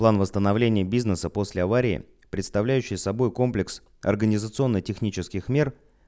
план восстановление бизнеса после аварии представляющий собой комплекс организационно-технических мер